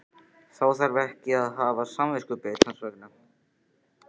Þá þarf ég ekki að hafa samviskubit hans vegna?